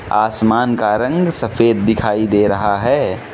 आसमान का रंग सफेद दिखाई दे रहा है।